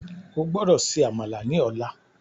O gbódò ṣe Àmàlà ní ọlá